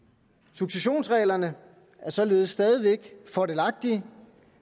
successionsreglerne er således stadig væk fordelagtige